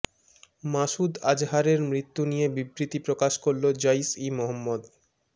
মাসুদ আজহারের মৃত্যু নিয়ে বিবৃতি প্রকাশ করল জইশ ই মহম্মদ